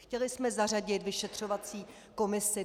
Chtěli jsme zařadit vyšetřovací komisi.